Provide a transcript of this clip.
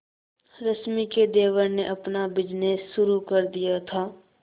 रश्मि के देवर ने अपना बिजनेस शुरू कर दिया था